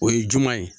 O ye juman ye